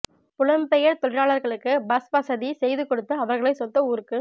புலம் பெயர் தொழிலாளர்களுக்கு பஸ் வசதி செய்து கொடுத்து அவர்களை சொந்த ஊருக்கு